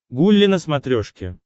гулли на смотрешке